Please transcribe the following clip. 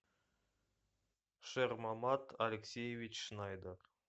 шермамат алексеевич шнайдер